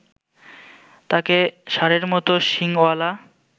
তাকে ষাঁড়ের মত শিংওয়ালা